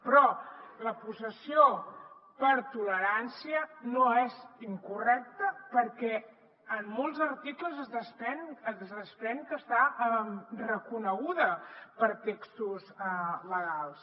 però la possessió per tolerància no és incorrecta perquè en molts articles es desprèn que està reconeguda per textos legals